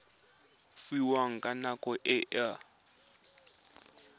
fiwang ka nako e a